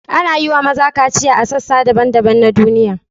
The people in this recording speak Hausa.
Ana yi wa maza kaciya a sassa daban-daban na duniya.